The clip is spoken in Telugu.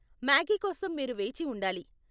మాగీ కోసం మీరు వేచి ఉండాలి.